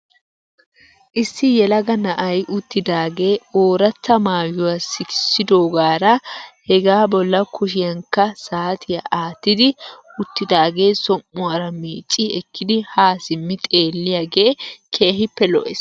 Issi yelaga na'ay uttidaagee ooratta maayuwaa sikissidoogaara hegaa bolla kushiyankka saatiyaa aattidi uttidaagee som''uwaara miicci ekkidi haa simmi xeelliyaagee keehippe lo'ees.